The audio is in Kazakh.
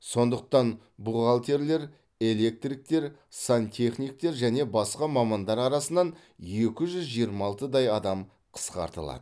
сондықтан бухгалтерлер электриктер сантехниктер және басқа мамандар арасынан екі жүз жиырма алтыдай адам қысқартылады